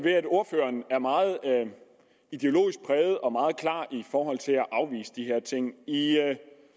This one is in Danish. ved at ordføreren er meget ideologisk præget og meget klar i forhold til at afvise de her ting i